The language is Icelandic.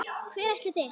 Hvert ætlið þér?